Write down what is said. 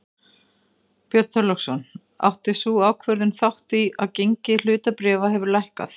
Björn Þorláksson: Átti sú ákvörðun þátt í því að gengi hlutabréfa hefur lækkað?